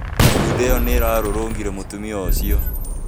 Funda ĩyo nĩ ĩrarũrũngire mũtumia ũcio